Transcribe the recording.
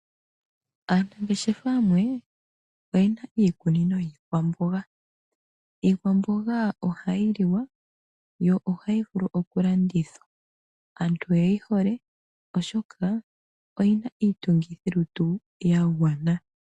Aanangeshefa yamwe oyena iikunino yiikwamboga. Iikwamboga ohayi liwa yo ohayi vulu okulandithwa. Aantu oyeyi hole oshoka oyina niitungithilutu yagwana.